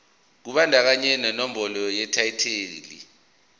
kubandakanya nenombolo yetayitela